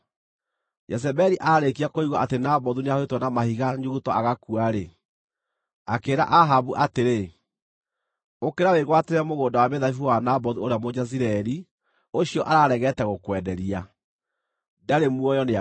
Jezebeli aarĩkia kũigua atĩ Nabothu nĩahũrĩtwo na mahiga nyuguto agakua-rĩ, akĩĩra Ahabu atĩrĩ “Ũkĩra wĩgwatĩre mũgũnda wa mĩthabibũ wa Nabothu ũrĩa Mũjezireeli ũcio araregete gũkwenderia. Ndarĩ muoyo, nĩakuĩte.”